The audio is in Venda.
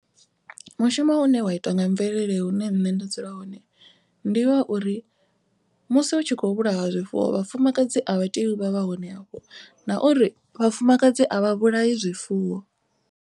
Mushumo une wa itwa nga mvelele hune nṋe nda dzula hone. Ndi wa uri musi hu tshi khou vhulaiwa zwifuwo vhafumakadzi a vha tei u vha vha hone afho. Na uri vhafumakadzi a vha vhulaya zwifuwo.